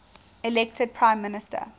elected prime minister